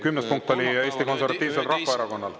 Kümnes punkt on Eesti Konservatiivse Rahvaerakonna oma.